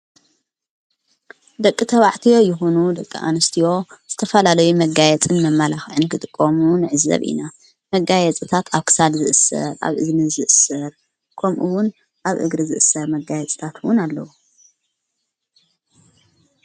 ደቂ ተባዕትዮ ይኹኑ ደቂ ኣንስትዮ ዝተፋላለይ መጋየጽን መማላኽዕን ክጥቆሙን ኣዕዘብ ኢና መጋየጽታት ኣሳድ ዝእሥር ኣብ እዝኒ ዝእሥር ቆምኡውን ኣብ እግሪ ዝእሥር መጋየ ጽታትውን ኣለዉ።